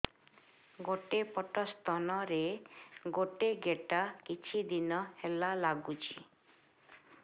ଗୋଟେ ପଟ ସ୍ତନ ରେ ଗୋଟେ ଗେଟା କିଛି ଦିନ ହେଲା ଲାଗୁଛି